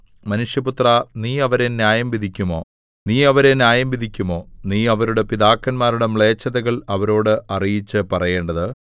മനുഷ്യപുത്രാ നീ അവരെ ന്യായംവിധിക്കുമോ നീ അവരെ ന്യായംവിധിക്കുമോ നീ അവരുടെ പിതാക്കന്മാരുടെ മ്ലേച്ഛതകൾ അവരോട് അറിയിച്ചു പറയേണ്ടത്